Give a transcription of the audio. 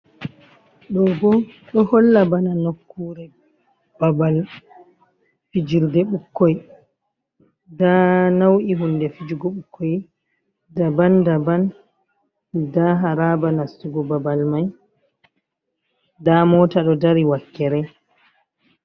Ɗobo ɗo holla bana nakkure babal fijirde ɓukkoi nda nau’i hunde fijugo ɓukkoi daban daban nda haraba nastugo babal mai nda mota ɗo dari wakkere.